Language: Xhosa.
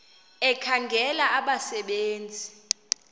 ekhangela abasebe nzi